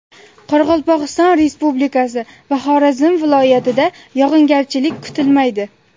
Qoraqalpog‘iston Respublikasi va Xorazm viloyatida yog‘ingarchilik kutilmaydi.